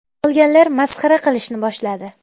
Qolganlar masxara qilishni boshladi.